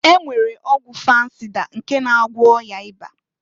E nwere ọgwụ fansịda nke na agwọ ọya ịba.